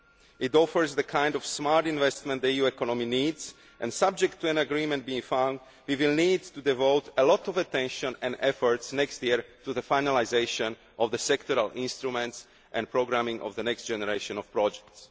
It offers the kind of smart investment the EU economy needs and, subject to an agreement being found, we will need to devote a lot of attention and effort next year to the finalisation of sectoral instruments and programming of the next generation of projects.